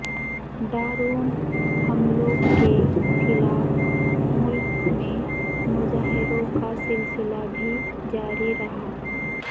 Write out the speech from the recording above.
drone حملوں کے خلاف ملک میں مظاہروں کا سلسلہ بھی جاری رہا